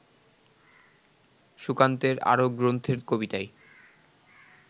সুকান্তের আরও গ্রন্থের কবিতায়